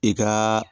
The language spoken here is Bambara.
I kaaa